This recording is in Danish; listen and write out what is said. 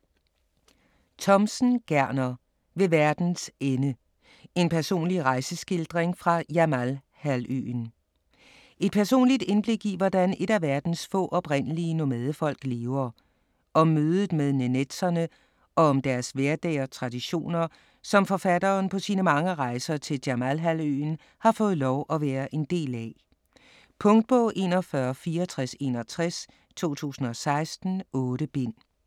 Thomsen, Gerner: Ved verdens ende: en personlig rejseskildring fra Jamalhalvøen Et personligt indblik i hvordan et af verdens få, oprindelige nomadefolk lever. Om mødet med nenetserne og om deres hverdag og traditioner, som forfatteren på sine mange rejser til Jamalhalvøen har fået lov at være en del af. Punktbog 416461 2016. 8 bind.